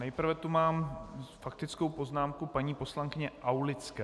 Nejprve tu mám faktickou poznámku paní poslankyně Aulické.